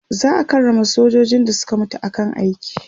za'a karrama sojojin da Suka mutu a kan aiki